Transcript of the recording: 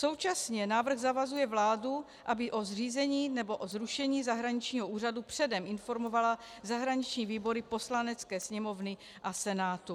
Současně návrh zavazuje vládu, aby o zřízení nebo o zrušení zahraničního úřadu předem informovala zahraniční výbory Poslanecké sněmovny a Senátu.